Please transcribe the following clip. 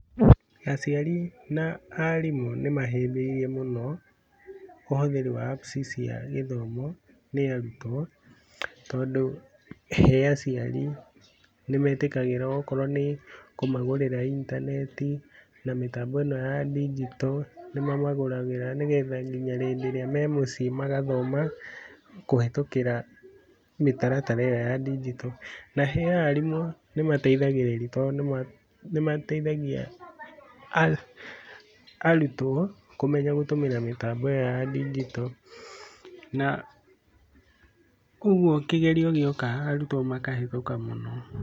Aciari na arimũ nĩ mahĩmbĩirie mũno ũhũthĩri wa apps cia gĩthomo nĩ arutwo, tondũ he aciari nĩ metĩkagĩra okorwo nĩ kũmagũrĩra intaneti na mĩtambo ĩno ya ndigito nĩ mamagũragĩra nĩgetha nginya hĩndĩ ĩrĩa me mũciĩ magathoma, kũhĩtũkĩra mĩtaratara ĩyo ya ndingito. Na he arimũ nĩ mateithagĩrĩria, nĩ mateithagia arutwo kũmenya kũtũmĩra mĩtambo ĩyo ya ndingito na ũguo kĩgerio gĩoka arutwo makahĩtũka mũno.